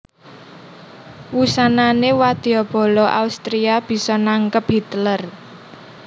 Wusanané wadya bala Austria bisa nangkep Hitler